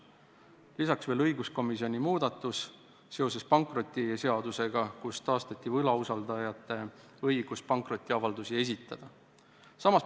Samuti toon esile õiguskomisjoni muudatuse seoses pankrotiseadusega, mille tulemusena taastati võlausaldajate õigus pankrotiavaldusi esitada.